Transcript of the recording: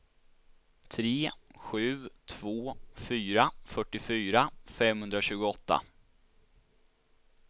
tre sju två fyra fyrtiofyra femhundratjugoåtta